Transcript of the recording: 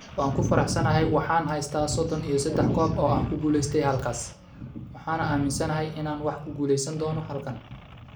Waan ku faraxsanahay waxaan haystaa sodon iyo sedax koob oo aan ku guuleystay halkaas, waxaana aaminsanahay inaan wax ku guuleysan doono halkan.